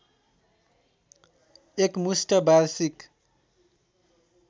एकमुष्ट वार्षिक